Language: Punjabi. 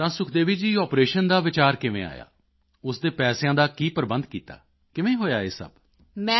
ਤਾਂ ਸੁਖਦੇਵੀ ਜੀ ਆਪਰੇਸ਼ਨ ਦਾ ਵਿਚਾਰ ਕਿਵੇਂ ਆਇਆ ਉਸ ਦੇ ਪੈਸਿਆਂ ਦਾ ਕੀ ਪ੍ਰਬੰਧ ਕੀਤਾ ਕਿਵੇਂ ਹੋਇਆ ਇਹ ਸਭ